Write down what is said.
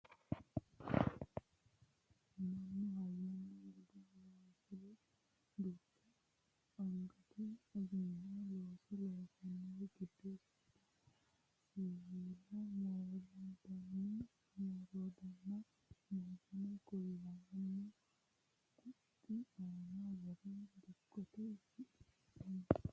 mannu hayyonna bude horonsire duucha angate ogimma looso loosannori giddo seeda siwiila moroondanni moroodanna meesane kuulaamu qunxi aana worre dikkote shiqinshooni